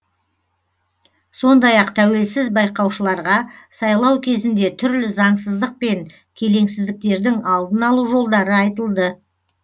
сондай ақ тәуелсіз байқаушыларға сайлау кезінде түрлі заңсыздық пен келеңсіздіктердің алдын алу жолдары айтылды